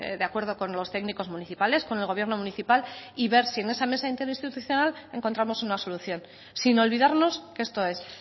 de acuerdo con los técnicos municipales con el gobierno municipal y ver si en esa mesa interinstitucional encontramos una solución sin olvidarnos que esto es